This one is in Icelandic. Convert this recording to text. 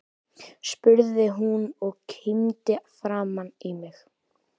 spurði hún og kímdi framan í mig.